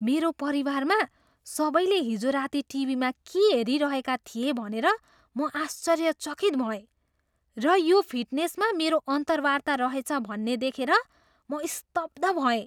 मेरो परिवारमा सबैले हिजो राति टिभीमा के हेरिरहेका थिए भनेर म आश्चर्यचकित भएँ र यो फिटनेसमा मेरो अन्तर्वार्ता रहेछ भन्ने देखेर म स्तब्ध भएँ!